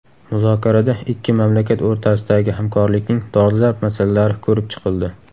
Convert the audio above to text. Muzokarada ikki mamlakat o‘rtasidagi hamkorlikning dolzarb masalalari ko‘rib chiqildi.